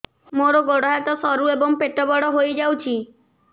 ମୋର ଗୋଡ ହାତ ସରୁ ଏବଂ ପେଟ ବଡ଼ ହୋଇଯାଇଛି